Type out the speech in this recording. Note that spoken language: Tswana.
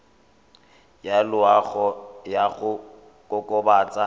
ya loago ya go kokobatsa